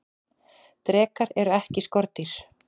drekar eru ekki skordýr